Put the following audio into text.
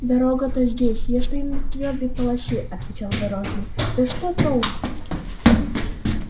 дорога-то здесь я стою на твёрдой полосе отвечал дорожный да что толку